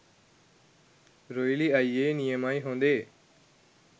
රොයිලි අයියෙ.නියමයි හොඳේ.